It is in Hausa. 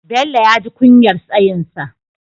Bello ya ji kunyar tsayinsa.